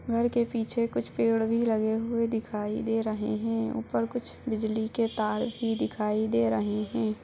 घर के पीछे कुछ पेड़ भी लगे हुए दिखाई दे रहे है उपर कुछ बिजली के तार भी दिखाई दे रहे है।